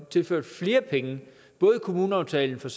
tilført flere penge både i kommuneaftalen for